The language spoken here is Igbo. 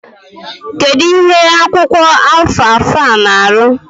Kedu ihe akwụkwọ alfalfa na arụ?